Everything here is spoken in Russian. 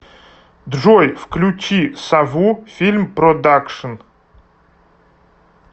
джой включи сову фильм продакшин